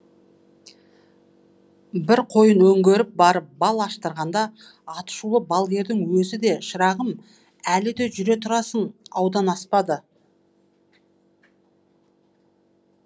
бір қойын өңгеріп барып бал аштырғанда атышулы балгердің өзі де шырағым әлі де жүре тұрасың аудан аспады